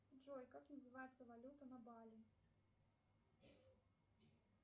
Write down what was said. джой как называется валюта на бали